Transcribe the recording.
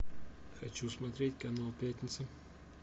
хочу смотреть канал пятница